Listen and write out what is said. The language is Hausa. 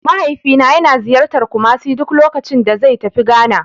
Mahaifina yana ziyartar Kumasi duk lokacin da zai tafi Ghana.